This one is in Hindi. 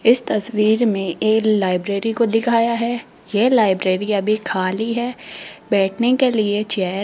इस तस्वीर में एक लाइब्रेरी को दिखाया है ये लाइब्रेरी अभी खाली है बैठने के लिए चेयर --